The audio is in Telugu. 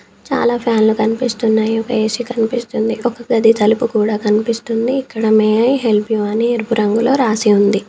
చాలా ఫ్యాన్లు కనిపిస్తున్నాయి ఒక ఏ_సీ కనిపిస్తుంది. ఒక గది తలుపు కూడా కనిపిస్తుంది ఇక్కడ మే ఐ హెల్ప్ యూ అని ఎరుపు రంగులో రాసి ఉంది.